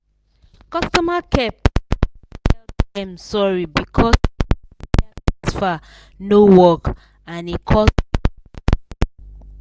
customer care person tell dem sorry because say the wire transfer no work and e cause gbege